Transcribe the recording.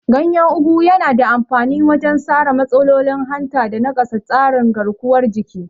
Ganyen Ugu yana da amfani wajen sarra matsalolin hanta da nakasa tsarin garkuwar jiki.